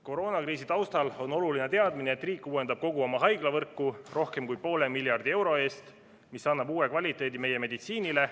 Koroonakriisi taustal on oluline teadmine, et riik uuendab kogu oma haiglavõrku rohkem kui poole miljardi euro eest, mis annab uue kvaliteedi meie meditsiinile.